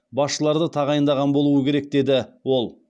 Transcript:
басшыларды тағайындаған болуы керек деді ол